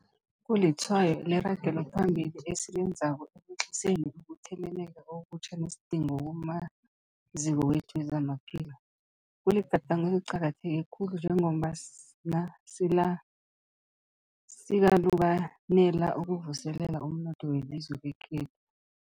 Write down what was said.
Kulitshwayo leragelophambili esilenzako ekwehliseni ukutheleleka okutjha nesidingo kumaziko wethu wezamaphilo. Kuligadango eliqakatheke khulu njengombana sikalukanela ukuvuselela umnotho welizwe lekhe